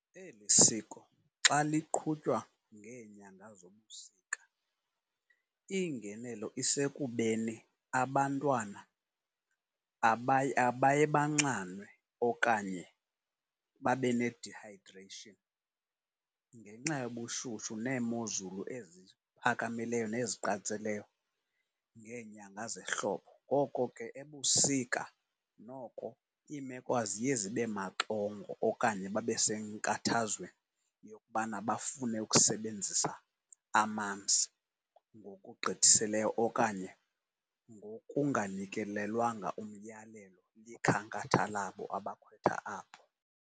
Eli siko xa liqhutywa ngeenyanga zobusika iingenelo isekubeni abantwana abaye banxanwe okanye babe ne-dehydration ngenxa yobushushu neemozulu eziphakamileyo neziqatseleyo ngeenyanga zehlobo. Ngoko ke, ebusika noko iimeko aziye zibe maxongo okanye babe senkathazweni yokubana bafune ukusebenzisa amanzi ngokugqithisileyo okanye ngokunganikelelwanga umyalelo wekhankatha labo abakhwetha abo.